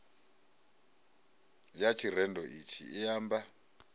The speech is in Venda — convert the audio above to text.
ya tshirendo itshi i amba